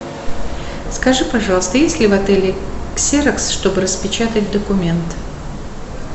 скажи пожалуйста есть ли в отеле ксерокс чтобы распечатать документ